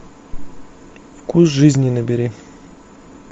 вкус жизни набери